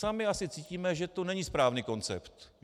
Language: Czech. Sami asi cítíme, že to není správný koncept.